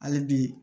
Hali bi